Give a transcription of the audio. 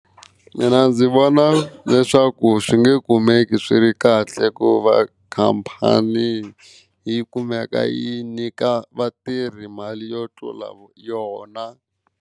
Mina ndzi vona leswaku swi nge kumeki swi ri kahle ku va khampani yi kumeka yi nyika vatirhi mali yo tlula yona.